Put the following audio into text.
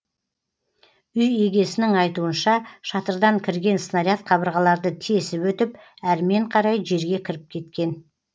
үй егесінің айтуынша шатырдан кірген снаряд қабырғаларды тесіп өтіп әрмен қарай жерге кіріп кеткен